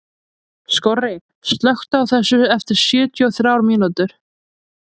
Skorri, slökktu á þessu eftir sjötíu og þrjár mínútur.